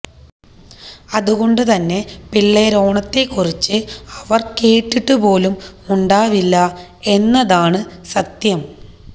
അതുകൊണ്ട് തന്നെ പിള്ളേരോണത്തെക്കുറിച്ച് അവർ കേട്ടിട്ടുപോലും ഉണ്ടാവില്ല എന്നതാണ് സത്യം